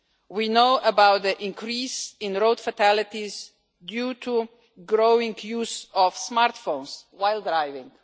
We know about the increase in road fatalities due to growing use of smart phones while driving.